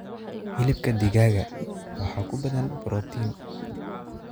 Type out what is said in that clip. Hilibka digaaga waxaa ku badan borotiin.